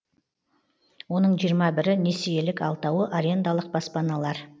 оның жиырма бірі несиелік алтауы арендалық баспаналар